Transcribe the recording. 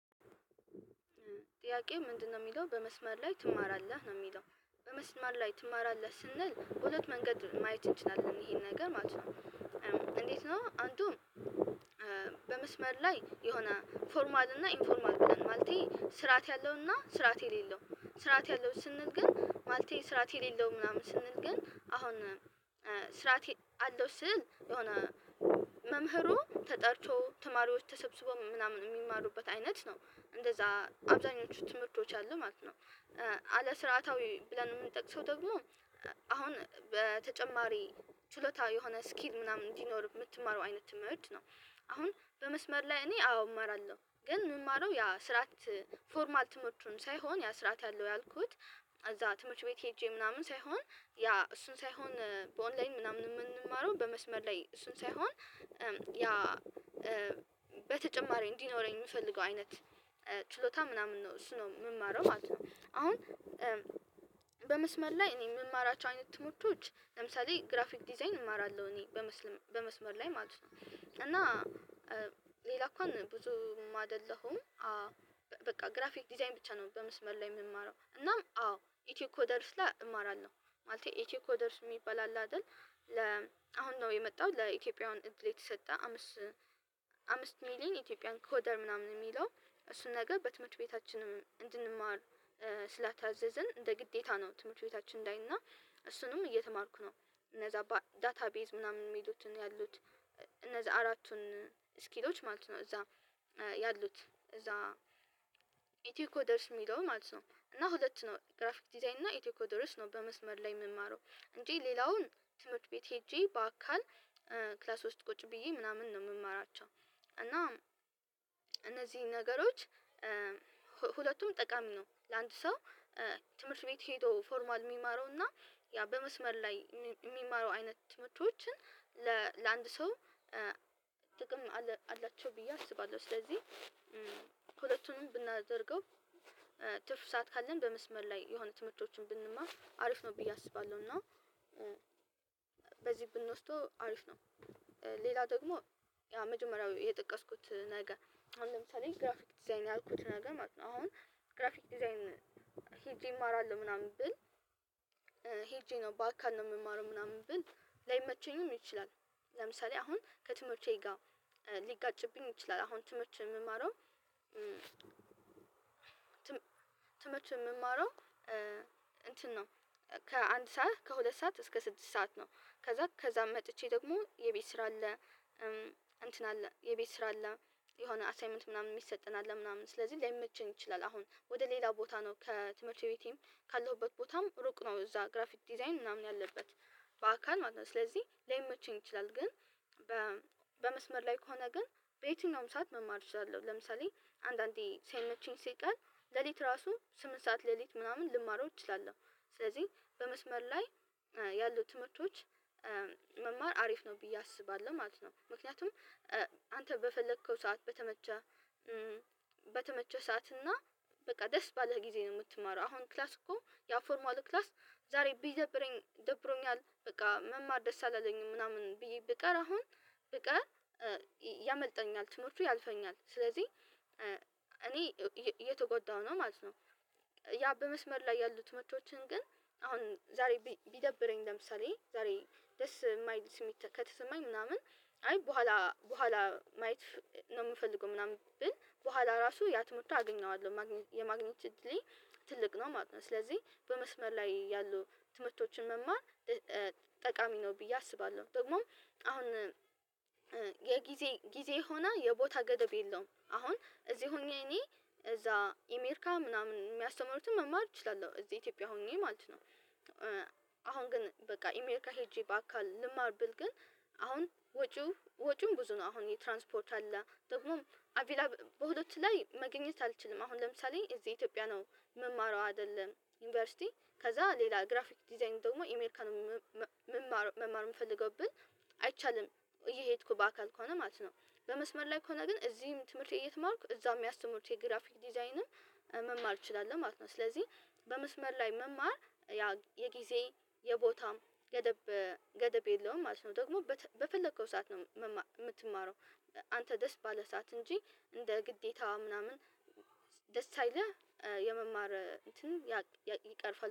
ጥያቄው ምንድነው የሚለው? በመስመር ላይ ትማራለህ ነው የሚለው በመስመር ላይ ትማራለህ ስንል በሁለት መንገድ ማየት እንችላለን ይሄን ነገር ማለት ነው። እንዴት ነው አንዱም? በመስመር ላይ የሆነ ፎርማል እና ኢንፎርማል ብለን ማለቴ ስርዓት ያለውና ስርዓት የሌለው ስርዓት ያለው ስንል ግን ማለቴን ስራት የሌለው ምናምን ስንል ግን አሁን ስርዓት አለው ስንል የሆነ መምህሩ ተጠርቶ ተማሪዎች ተሰብስበው ምናምን የሚማሩበት አይነት ነው እንደዛ አብዛኞቹ ትምህርቶች አሉ ማለት ነው። አለስርዓታዊ ብለን የምንጠቅሰው ደግሞ አሁን በተጨማሪ ችሎታ የሆነ ስኪል ምናምን እንዲኖር የምትማረው አይነት ማየት ነው። አሁን በመስመር ላይ እኔ አዎ እማራለሁ ግን የምማረው ያ ስርዓት ፎርማል ትምህርቱን ሳይሆን ያ ስርዓት ያለው ያልኩት እዛ ትምህርት ቤት ሄጄ ምናምን ሳይሆን ያ እሱን ሳይሆን በኦንላይን ምናምን የምንማረው በመስመር ላይ እሱን ሳይሆን ያ በተጨማሪ እንዲኖረኝ የምፈልገው አይነት ችሎታ ምናምን ነው እሱ ነው የምማረው ማለት ነው። አሁን በመስመር ላይ እኔ የምማራቸው አይነት ትምህርቶች ለምሳሌ ግራፊክ ዲዛይን እማራለሁ እኔ በመስመር ላይ ማለት ነው እና ሌላ እንኳን ብዙም አይደለሁም። በቃ ግራፊክ ዲዛይን ብቻ ነው በመስመር ላይ የምማረው እናም አዎ ኢትዮ ኮደርስ ላይ እማራለሁ። ማለቴ ኢትዮ ኮደርስ የሚባል አለ አይደል ለ አሁን ነው የመጣው ለኢትዮጵያውያን እድል የተሰጠ አምስት አምስት ሚሊየን ኢትዮጵያን ኮደር ምናምን የሚለው እሱን ነገር በትምህርት ቤታችንም እንድንማር ስላታዘዝን እንደ ግዴታ ነው። ትምህርት ቤታችን እንዳይ እና እሱንም እየተማርኩ ነው እነዛ ዳታቤዝ ምናምን የሚሉትን ያሉት እነዛ አራቱን ስኪሎች ማለት ነው እዛ ያሉት እዛ ኢትዮ ኮደርስ የሚለው ማለት ነው። እና ሁለት ነው ግራፊክ ዲዛይን እና ኢቴኮ ድረስ ነው በመስመር ላይ የምማረው እንጂ ሌላውን ትምህርት ቤት ሄጄ በአካል ክላስ ውስጥ ቁጭ ብዬ ምናምን ነው የምማራቸው። እና እነዚህ ነገሮች ሁለቱም ጠቃሚ ነው ለአንዱ ሰው ትምህርት ቤት ሄዶ ፎርማል የሚማረው እና ያ በመስመር ላይ የሚማረው አይነት ትምህርቶችን ለአንድ ሰው ጥቅም አላቸው ብዬ አስባለሁ። ስለዚህ ሁለቱንም ብናደርገው ትርፍ ሰዓት ካለን በመስመር ላይ የሆነ ትምህርቶችን ብንማር አሪፍ ነው ብዬ አስባለሁ እና በዚህ ብንወስደው አሪፍ ነው። ሌላ ደግሞ ያ መጀመሪያው የጠቀስኩት ነገር አሁን ለምሳሌ ግራፊክ ዲዛይን ያልኩት ነገር ማለት ነው ግራፊክ ዲዛይን ሄጄ እማራለሁ ምናምን ብል ሄጄ ነው በአካል ነው የምማረው ምናምን ብል ላይመቸኝም ይችላል። ለምሳሌ አሁን ከትምህርት ጋር ሊጋጭብኝ ይችላል አሁን ትምህርት የምማረው ትምህርት የምማረው ነው ከአንድ ሰዓት ከሁለት ሰዓት እስከ ስድስት ሰዓት ነው ከዛ ከዛም መጥቼ ደግሞ የቤት ስራ አለ። እንትን አለ የቤት ስራ አለ የሆነ አሳይመንት ምናምን የሚሰጠን አለ ምናምን ስለዚህ ላይመችኝ ይችላል። አሁን ወደ ሌላ ቦታ ነው ከትምህርት ቤቴም ካለሁበት ቦታም ሩቅ ነው እዛ ግራፊክ ዲዛይን ምናምን ያለበት በአካል ማለት ነው ስለዚህ ለመቼም ይችላል ግን በመስመር ላይ ከሆነ ግን በየትኛውም ሰዓት መማር እችላለሁ ለምሳሌ አንዳንዴ ሳይመቼኝ ሲቀር ሌሊት ራሱ ስምንት ሰዓት ሌሊት ምናምን ልማረው እችላለሁ። ስለዚህ በመስመር ላይ ያሉ ተምህርቶች መማር አሪፍ ነው ብዬ አስባለሁ ማለት ነው ምክንያቱም አንተ በፈለከው ሰዓት በተመቸህ በተመቸህ ሰዓት እና በቃ ደስ ባለህ ጊዜ ነው የምትማረው አሁን ክላስ እኮ ያው ፎርማል ክላስ ዛሬ ቢደብረኝ ደብሮኛል በቃ መማር ደስ አለኝም ምናምን ብዬ ብቀር አሁን ብቀር ያመልጠኛል ትምህርቱ ያልፈኛል ስለዚህ እኔ እየተጎዳሁ ነው ማለት ነው። ያ በመስመር ላይ ያሉ ትምህርቶችን ግን አሁን ዛሬ ቢደብረኝ ለምሳሌ ዛሬ ደስ የማይል ስሜት ከተሰማኝ ምናምን አይ በኋላ በኋላ ማየት ነው የምፈልገው ምናምን ብል በኋላ ራሱ ያ ትምህርቱን አገኘዋለሁ የማግኘት እድሌ ትልቅ ነው ማለት ነው። ስለዚህ በመስመር ላይ ያሉ ትምህርቶችን መማር ጠቃሚ ነው ብዬ አስባለሁ ደግሞ አሁን የጊዜ ጊዜ ሆና የቦታ ገደብ የለውም አሁን እዚህ ሆኜ እኔ እዛ አሜሪካ ምናምን የሚያስተምሩትን መማር እችላለሁ እዚህ ኢትዮጵያ ሆኜ ማለት ነው። አሁን ግን በቃ አሜሪካ ሄጄ በአካል ልማር ብል ግን አሁን ወጪው ወጪውም ብዙ ነው አሁን የትራንስፖርት አለ ደግሞም አቪላ በሁለት ላይ መገኘት አልችልም አሁን ለምሳሌ እዚህ ኢትዮጵያ ነው የምማረው አይደለም ዩኒቨርሲቲ ከዛ ሌላ ግራፊክ ዲዛይን ደግሞ አሜሪካን መማር የምፈልገው ብል አይቻልም። እየሄድኩ በአካል ከሆነ ማለት ነው በመስመር ላይ ከሆነ ግን እዚህም ትምህርት እየተማርኩ እዛ የሚያስተምሩት የግራፊክ ዲዛይንም መማር እችላለሁ ማለት ነው ስለዚህ በመስመር ላይ መማር ያ የጊዜ የቦታም ገደብ ገደብ የለውም ማለት ነው። ደግሞ በፈለከው ሰዓት ነው የምትማረው አንተ ደስ ባለህ ሰዓት እንጂ እንደ ግዴታ ምናምን ደስ ሳይልህ የመማር እንትን ይቀርፋል